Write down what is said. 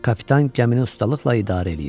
Kapitan gəmini ustalıqla idarə eləyirdi.